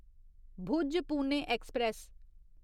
Bhuj Pune express